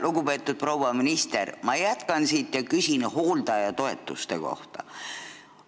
Lugupeetud proua minister, ma jätkan siit ja küsin hooldajatoetuste kohta.